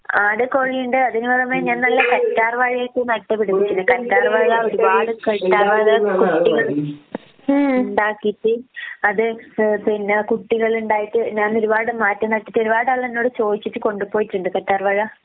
ആട്, കോഴി ഇണ്ട് അതിന് പുറമെ ഞാൻ നല്ല കറ്റാർ വാഴയൊക്കെ നട്ടുപിടിപ്പിച്ചിട്ടുണ്ട്. കറ്റാർ വാഴ ഒരുപാട് കറ്റാർ വാഴ കുട്ടികള് ഉണ്ടാക്കീട്ട് അത് ഏഹ് പിന്നെ കുട്ടികളിണ്ടായിട്ട് ഞാൻ ഒരുപാട് മാറ്റി നട്ടിട്ട് ഒരുപാട് ആളുകള് എന്നോട് ചോദിച്ചിട്ട് കൊണ്ടുപോയിട്ടുണ്ട് കറ്റാർ വാഴ